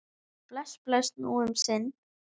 Bless, bless, nú um sinn.